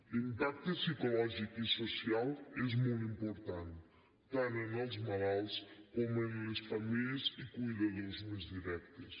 l’impacte psicològic i social és molt important tant en els malalts com en les famílies i cuidadors més directes